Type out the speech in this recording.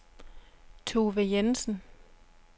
Tove Jensen